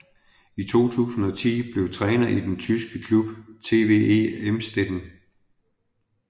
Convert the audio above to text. I 2010 blev træner i den tyske klub TVE Emsdetten